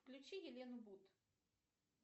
включи елену бут